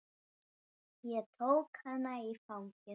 Ég tók hana í fangið.